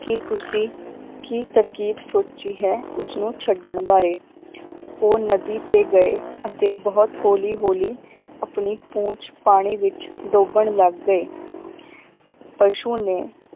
ਕਿ ਤੁਸੀ ਕੀ ਤਰਕੀਬ ਸੋਚੀ ਹੈ ਉਸਨੂੰ ਛੱਡਣ ਬਾਰੇ ਉਹ ਨਦੀ ਤੇ ਗਏ ਅਤੇ ਬਹੁਤ ਹੌਲੀ ਹੌਲੀ ਆਪਣੀ ਪੂੰਛ ਪਾਣੀ ਵਿਚ ਡੋਬਣ ਲੱਗ ਗਏ ਪਸ਼ੂ ਨੇ